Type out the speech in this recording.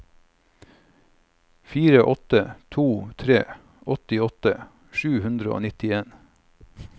fire åtte to tre åttiåtte sju hundre og nitten